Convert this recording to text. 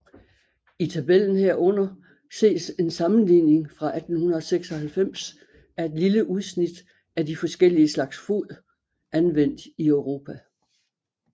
I tabellen herunder ses en sammenligning fra 1896 af et lille udsnit af de forskellige slags fod anvendt i Europa